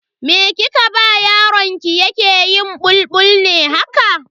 Me kike ba yaron ki yake yin bulbul ne haka?